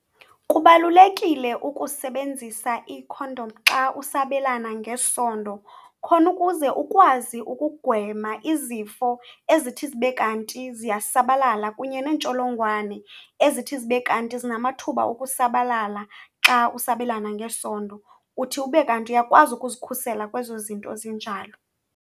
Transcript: Kubalulekile ukusebenzisa ikhondom xa usabelana ngesondo khona ukuze ukwazi ukugwema izifo ezithi zibe kanti ziyasabalala kunye neentsholongwane ezithi zibe kanti zinamathuba ukusabalala xa usabelana ngesondo. Uthi ube kanti uyakwazi ukuzikhusela kwezo zinto zinjalo.